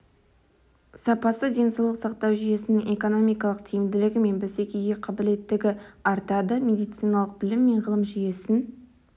сапасы денсаулық сақтау жүйесінің экономикалық тиімділігі мен бәсекеге қабілеттігі артады медициналық білім мен ғылым жүйесін